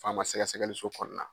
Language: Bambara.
Faama sɛgɛsɛgɛliso kɔnɔna